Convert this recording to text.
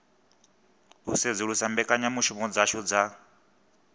u sedzulusa mbekanyamushumo dzashu dza